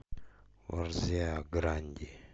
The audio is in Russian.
варзеа гранди